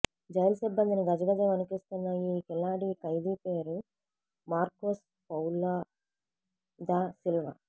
jail సిబ్బందిని గజగజా వణికిస్తున్న ఈ కిలాడీ ఖైదీ పేరు మార్కోస్ పౌలో దా సిల్వా